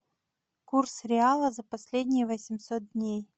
курс реала за последние восемьсот дней